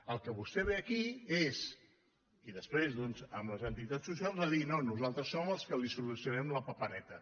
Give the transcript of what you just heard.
al que vostè ve aquí és i després doncs amb les entitats socials a dir no nosaltres som els que els solucionarem la papereta